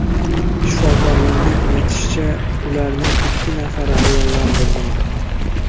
Shifokorlarning aytilishicha, ularning ikki nafari ayollar bo‘lgan.